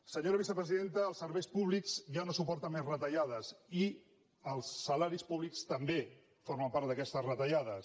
senyora vicepresidenta els serveis públics ja no supor·ten més retallades i els salaris públics també formen part d’aquestes retallades